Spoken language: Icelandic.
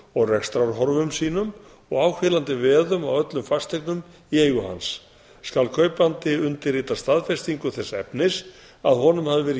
og rekstrarhorfum sínum og áhvílandi veðum á öllum fasteignum í eigu hans skal kaupandi undirrita staðfestingu þess efnis að honum hafi verið